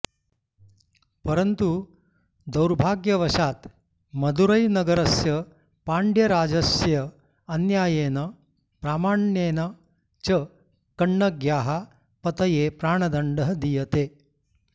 परन्तु दौर्भाग्यवशात् मदुरैनगरस्य पाण्ड्यराजस्य अन्याय्येन अप्रामाण्येन च कण्णग्याः पतये प्राणदण्डः दीयते